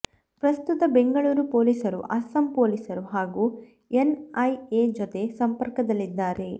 ಪ್ರಸ್ತುತ ಬೆಂಗಳೂರು ಪೊಲೀಸರು ಅಸ್ಸಾಂ ಪೊಲೀಸರು ಹಾಗೂ ಎನ್ಐಎ ಜೊತೆ ಸಂಪರ್ಕದಲ್ಲಿದ್ದಾರೆ